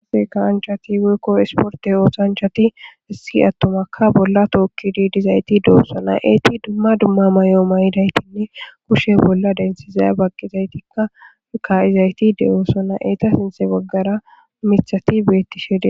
Kuwase kasanchati woyiko isporte otizayiti issi na'ayi toketidi de'osona etika duma duma mayo mayidi eti banta kushen pude dentidi baqishe ka'izayiti de'osona eta sintha bagara mithati betishe dee's